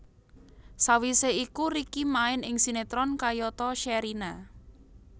Sawisé iku Ricky main ing sinetron kayata Sherina